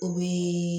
O bɛ